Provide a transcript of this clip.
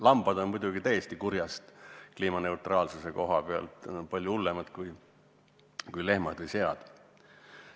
Lambad on kliimaneutraalsuse koha pealt muidugi täiesti kurjast, palju hullemad kui lehmad ja sead.